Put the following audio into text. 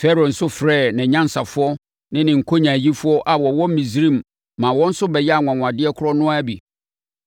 Farao nso frɛɛ nʼanyansafoɔ ne ne nkonyaayifoɔ a wɔwɔ Misraim ma wɔn nso bɛyɛɛ anwanwadeɛ korɔ no ara bi.